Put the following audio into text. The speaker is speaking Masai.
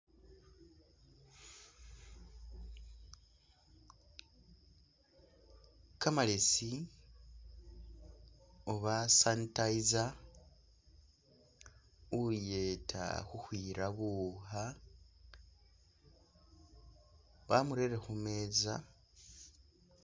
Kamaleesi oba sanitiser uyeta khukhwira buwuukha bamurere khumeza...